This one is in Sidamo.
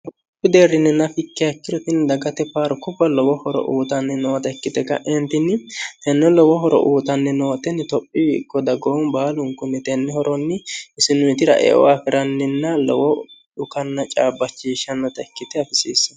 hku deerrinninna fikkehakkirotinni dagate paaru kubba lowo horo uutanni noote ikkite ka'eentinni tenne lowo horo uutanni nootenni tophi ikko dagoon baalunku mitennihoronni isinuyitira eo afi'ranninna lowo dhukanna caabbachiishshannota ikkite afisiissene